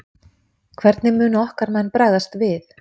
Hvernig munu okkar menn bregðast við?